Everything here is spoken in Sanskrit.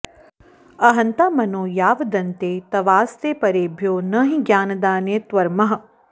अहंता मनो यावदन्ते तवास्ते परेभ्यो न हि ज्ञानदाने त्वमर्हः